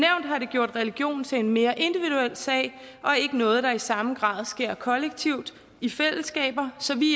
har det gjort religion til en mere individuel sag og ikke noget der i samme grad sker kollektivt i fællesskaber så vi